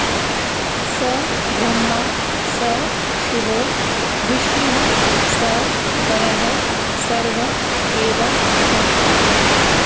स ब्रह्मा स शिवो विष्णुः स परः सर्व एव सः